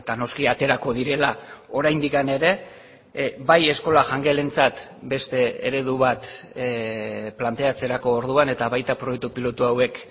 noski aterako direla oraindik ere bai eskola jangelentzat beste eredu bat planteatzerako orduan eta baita proiektu pilotu hauek